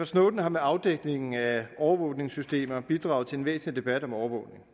snowden har med afdækningen af overvågningssystemerne bidraget til en væsentlig debat om overvågning